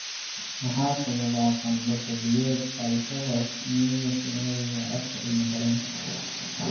Maxaa sababa qandho xilliyeed, aphthous stomatitis, pharyngitis, adenitis afka ilmo-galeenka (PFAPA)?